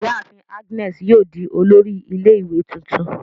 Iyaafin Agnes yoo di olori ile-iwe tuntun